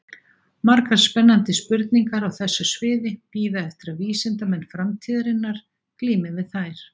Margar spennandi spurningar á þessu sviði bíða eftir að vísindamenn framtíðarinnar glími við þær.